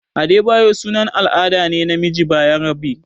Adebayo sunan al'ada ne na namiji bayarabe.